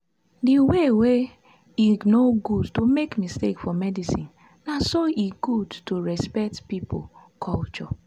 the way wey e no good to make mistake for medicinena so e good to respect pipo culture.